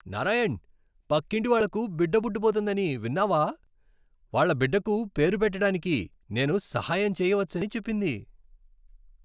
నారాయణ్, పక్కింటి వాళ్లకు బిడ్డ పుట్టబోతోందని విన్నావా? వాళ్ల బిడ్డకు పేరు పెట్టటానికి నేను సహాయం చెయ్యవచ్చని చెప్పింది.